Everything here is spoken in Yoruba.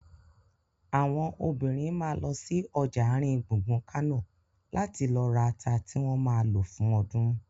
Àwọn obìnrin ma lọ sí ọjà àrin gbùngbùn Kánò láti lọ rata tí wọ́n ma lò fún ọdún